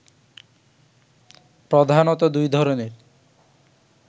প্রধানত দুই ধরনের